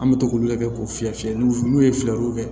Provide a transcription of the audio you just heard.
An bɛ to k'olu lajɛ k'o fiyɛ fiyɛliw n'u ye fiyɛliw kɛ